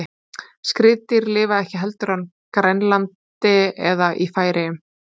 skriðdýr lifa ekki heldur á grænlandi eða í færeyjum